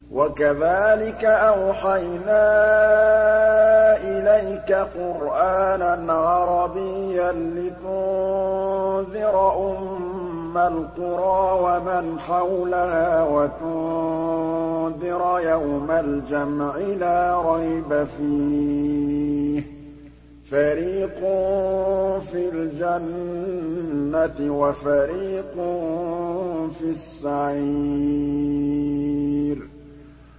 وَكَذَٰلِكَ أَوْحَيْنَا إِلَيْكَ قُرْآنًا عَرَبِيًّا لِّتُنذِرَ أُمَّ الْقُرَىٰ وَمَنْ حَوْلَهَا وَتُنذِرَ يَوْمَ الْجَمْعِ لَا رَيْبَ فِيهِ ۚ فَرِيقٌ فِي الْجَنَّةِ وَفَرِيقٌ فِي السَّعِيرِ